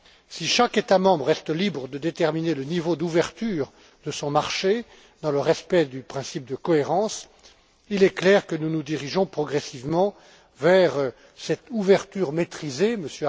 si chaque État membre reste libre de déterminer le niveau d'ouverture de son marché dans le respect du principe de cohérence, il est clair que nous nous dirigeons progressivement vers cette ouverture maîtrisée M.